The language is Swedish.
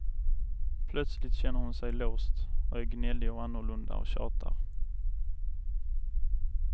Plötsligt känner hon sig låst och är gnällig och annorlunda och tjatar.